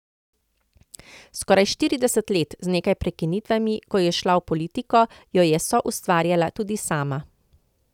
Skoraj štirideset let, z nekaj prekinitvami, ko je šla v politiko, jo je soustvarjala tudi sama.